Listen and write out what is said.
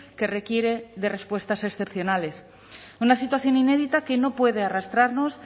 que requiere de respuestas excepcionales una situación inédita que no puede arrastrarnos